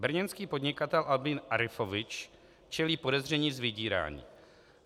Brněnský podnikatel Albin Arifovič čelí podezření z vydírání.